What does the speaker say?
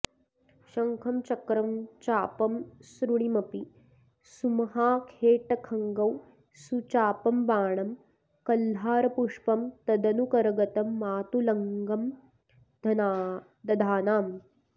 शङ्खं चक्रञ्च चापं सृणिमपि सुमहाखेटखड्गौ सुचापं बाणं कह्लारपुष्पं तदनुकरगतं मातुलङ्गं दधानाम्